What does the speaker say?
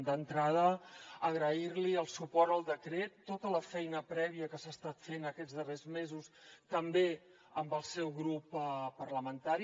d’entrada agrair li el suport al decret tota la feina prèvia que s’ha estat fent aquests darrers mesos també amb el seu grup parlamentari